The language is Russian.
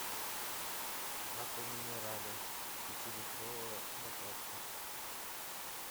аква минерале пятилитровая баклажка